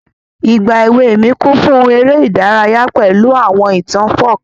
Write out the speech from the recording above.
Ìgbà èwe mi kún fún ere ìdárayá pẹ̀lu àwọn ìtàn folk.